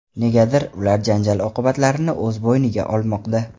Negadir, ular janjal oqibatlarini o‘z bo‘yniga olmoqda.